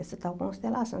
Essa tal constelação.